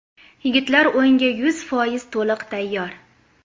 Yigitlar o‘yinga yuz foiz to‘liq tayyor.